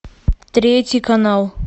третий канал